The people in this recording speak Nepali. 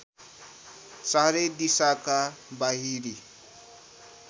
चारै दिशाका बाहिरी